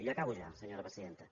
i acabo ja senyora presidenta